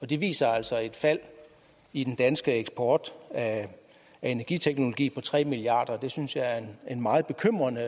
de viser altså et fald i den danske eksport af energiteknologi på tre milliard kroner det synes jeg er en meget bekymrende